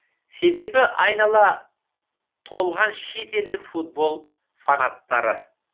себебі айнала толған шетелдік футбол фанаттары